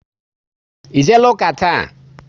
Ị jeela ụka taa?